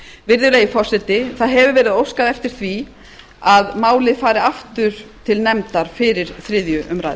virðulegi forseti það hefur verið óskað eftir því að málið fari aftur til nefndar fyrir þriðju umræðu